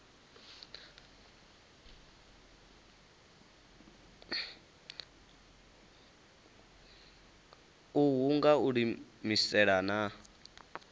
uhu nga u iimisela na